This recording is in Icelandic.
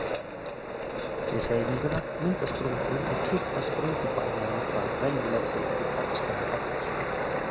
Við hreyfinguna myndast sprungur og kippast sprungubarmarnir þá venjulega til í gagnstæðar áttir.